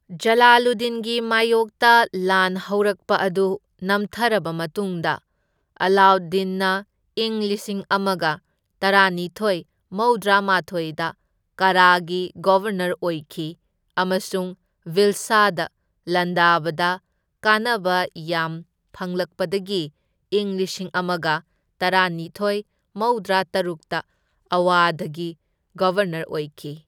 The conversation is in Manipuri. ꯖꯂꯥꯂꯨꯗꯗꯤꯟꯒꯤ ꯃꯥꯏꯌꯣꯛꯇ ꯂꯥꯟ ꯍꯧꯔꯛꯄ ꯑꯗꯨ ꯅꯝꯊꯔꯕ ꯃꯇꯨꯡꯗ, ꯑꯂꯥꯎꯗꯗꯤꯟꯅ ꯏꯪ ꯂꯤꯁꯤꯡ ꯑꯃꯒ ꯇꯔꯥꯅꯤꯊꯣꯢ ꯃꯧꯗ꯭ꯔꯥ ꯃꯥꯊꯣꯢꯗ ꯀꯥꯔꯥꯒꯤ ꯒꯕꯔꯅꯔ ꯑꯣꯏꯈꯤ ꯑꯃꯁꯨꯡ ꯚꯤꯜꯁꯥꯗ ꯂꯥꯟꯗꯥꯕꯗ ꯀꯥꯟꯅꯕ ꯌꯥꯝ ꯐꯪꯂꯛꯄꯗꯒꯤ ꯏꯪ ꯂꯤꯁꯤꯡ ꯑꯃꯒ ꯇꯔꯥꯅꯤꯊꯣꯢ ꯃꯧꯗ꯭ꯔꯥꯇꯔꯨꯛꯇ ꯑꯋꯥꯙꯒꯤ ꯒꯕꯔꯅꯔ ꯑꯣꯏꯈꯤ꯫